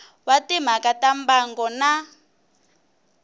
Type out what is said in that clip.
wa timhaka ta mbango na